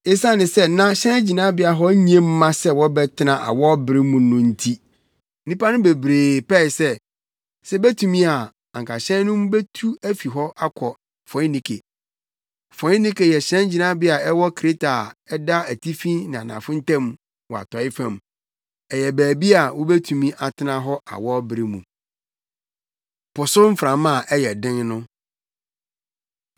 Esiane sɛ na hyɛngyinabea hɔ nye mma sɛ wɔbɛtena hɔ awɔwbere mu no nti nnipa no bebree pɛe sɛ, sɛ ebetumi a anka hyɛn no betu afi hɔ akɔ Foinike. Foinike yɛ hyɛngyinabea a ɛwɔ Kreta a ɛda atifi ne anafo ntam wɔ Atɔe fam. Ɛyɛ baabi a wobetumi atena hɔ awɔwbere mu. Po So Mframa A Ɛyɛ Den No